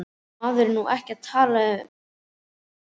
Maður er nú ekki að tala neitt um það.